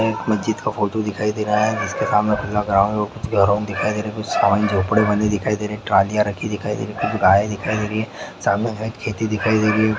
एक मस्जिद का फोटो दिखाई दे रहा है जिसके सामने खुला ग्राउन्ड दिखाई दे रहा है सामने कुछ झोंपड़े बने दिखाई दे रहा है ट्रालिया रखी दिखाई दे रहा है कुछ गाय दिखाई दे रही है सामने खेती दिखाई दे रही है।